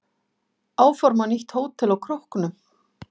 Áforma nýtt hótel á Króknum